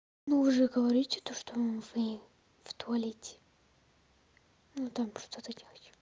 ну вы же говорите то что вы в туалете ну там что-то делаете